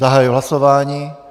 Zahajuji hlasování.